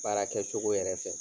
Baara kɛ cogo yɛrɛ fɛ.